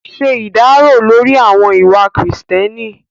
Ṣe ìdárò lórí àwọn ìwà kìrììtẹ́nì